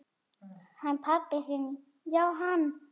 Hann pabbi þinn já, hann.